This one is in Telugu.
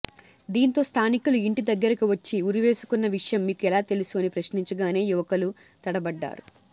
దీంతో స్థానికులు ఇంటి దగ్గరుకు వచ్చి ఉరి వేసుకున్న విషయం మీకు ఎలా తెలుసు అని ప్రశ్నించగానే యువకులు తడబడ్డారు